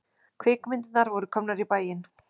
Kvikmyndirnar voru komnar í bæinn.